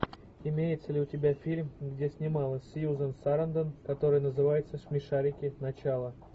имеется ли у тебя фильм где снималась сьюзан сарандон который называется смешарики начало